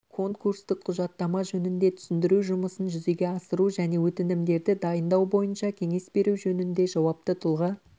конкурстық құжаттама жөнінде түсіндіру жұмысын жүзеге асыру және өтінімдерді дайындау бойынша кеңес беру жөнінде жауапты тұлға